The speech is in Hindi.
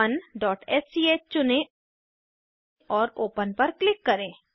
project1स्क चुनें और ओपन पर क्लिक करें